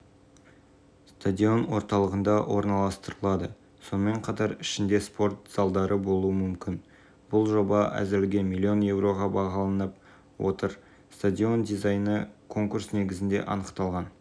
бұл бастамасы толығымен ағаштан жасалған әлемдегі алғашқы стадион болмақ клуб өзінің әлеуметтік желідегі ресми парақшаларында